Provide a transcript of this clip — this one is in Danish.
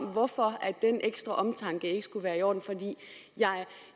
hvorfor den ekstra omtanke ikke skulle være i orden for